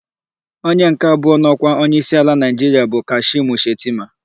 Onye nke abụọ n'ọkwa onyeisi ala Naịjiria bụ Kashimu Shetima.